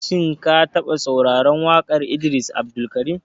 Shin ka taɓa sauraran waƙan Idris Abdulkarim?